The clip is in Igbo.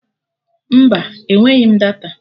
Mba, enweghị m data